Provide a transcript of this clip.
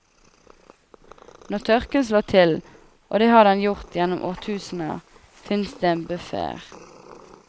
Når tørken slår til, og det har den gjort gjennom årtusener, finnes det en buffer.